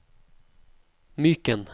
Myken